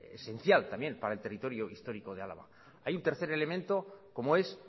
esencial también para el territorio histórico de álava hay un tercer elemento como es